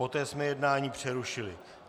Poté jsme jednání přerušili.